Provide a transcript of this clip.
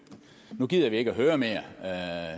nu gider vi ikke at høre mere